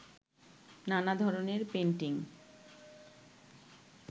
নানা ধরনের পেইন্টিং